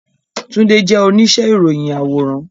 Tunde jẹ onise iroyin aworan